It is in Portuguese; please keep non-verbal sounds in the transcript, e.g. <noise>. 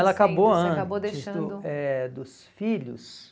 Sim, você acabou deixando... Ela acabou antes <unintelligible> eh dos filhos.